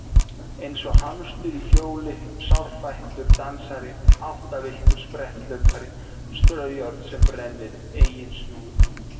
Eins og hamstur í hjóli sárfættur dansari áttavilltur spretthlaupari straujárn sem brennir eigin snúru